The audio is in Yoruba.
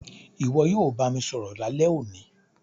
Ìwo yio bá mi sọ̀rọ̀ lálẹ́ òní